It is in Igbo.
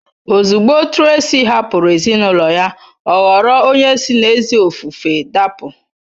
Ozugbo Tracy hapụrụ ezinụlọ ya, ọ ghọrọ onye si n’ezi ofufe dapụ.